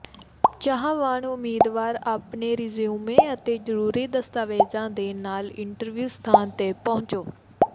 ਚਾਹਵਾਨ ਉਮੀਦਵਾਰ ਆਪਣੇ ਰਿਜਿਊਮੇ ਅਤੇ ਜਰੂਰੀ ਦਸਤਾਵੇਜ਼ਾਂ ਦੇ ਨਾਲ ਇੰਟਰਵਿਊ ਸਥਾਨ ਤੇ ਪਹੁੰਚੋ